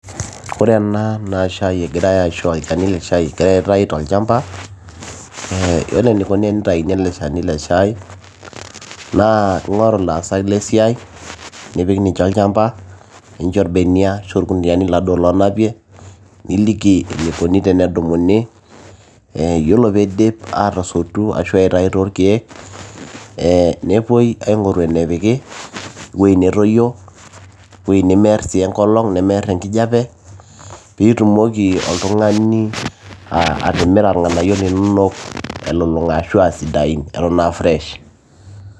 Ore enaa shai egirai aishoo olchani leshai keetai tolchamba ee yiolo enikuni tenitauni ele shani le shai naa ingoru laasak lesiai nipik ninche olchamba nincho irbeniak arashu irkuniani laduo lonapie, niliki eneikuni tenedumuni e ore peidip atasotu arashu aitau torkiek, ee nepuoi aingoru enepiki, ewueji natoyio ,ewueji nemear sii enkolong ,nemear enkijape ,nitumoki oltungani ati atimira irnganayio linonok elulunga ashu ata a fresh.